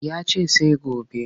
Ya ce sai gobe